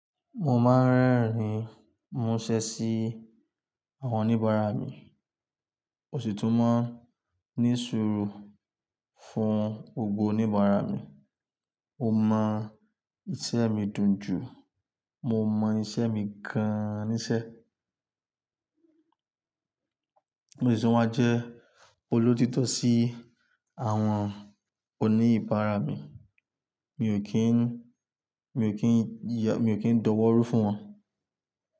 Mo máa ń rẹ́rìn múṣẹ sí àwọn oníbàárà mi. Òṣìtú máa ń ní sùúrù fún gbogbo oníbàárà mi. Mo mọ iṣẹ́ mi dùn jù, mo mọ iṣẹ́ mi gan-an níṣẹ́. Òṣìtú máa jẹ́ olóòtítọ́ sí àwọn oníbàárà mi. Mi ò kí ń, mi ò kí ń ya, mi ò kí ń dọwọ́ rú fún wọn.